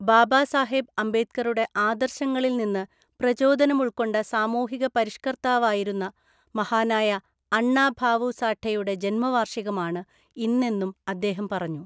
ബാബാസാഹേബ് അംബേദ്കറുടെ ആദര്‍ശങ്ങളില്‍ നിന്ന് പ്രചോദനം ഉള്‍ക്കൊണ്ട സാമൂഹിക പരിഷ്കര്ത്താവായിരുന്ന മഹാനായ അണ്ണ ഭാവു സാഠെയുടെ ജന്മവാര്‍ഷികമാണ് ഇന്നെന്നും അദ്ദേഹം പറഞ്ഞു.